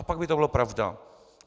A pak by to byla pravda.